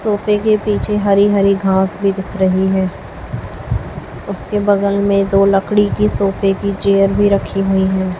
सोफे के पीछे हरी हरी घास भी दिख रही है उसके बगल में दो लकड़ी की सोफे की चेयर भी रखी हुई हैं।